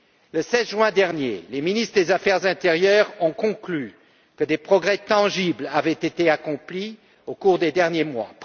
Le 16 juin dernier, les ministres de l'intérieur ont conclu que des progrès tangibles avaient été accomplis au cours des derniers mois.